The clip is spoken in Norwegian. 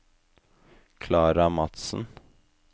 Klara Madsen